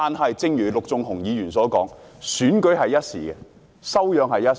可是，正如陸頌雄議員所說，選舉是一時，修養卻是一世。